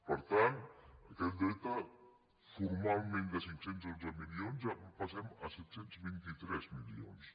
per tant d’aquest deute formalment de cinc cents i dotze milions ja passem a set cents i vint tres milions